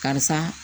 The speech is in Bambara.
Karisa